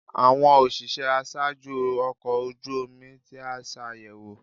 Awọn oṣiṣẹ aṣaaju ọkọ oju omi ti a ṣayẹwo